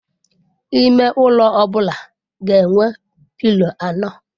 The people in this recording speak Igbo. Ime ụlọ ọ bụla ga enwe pilo anọ.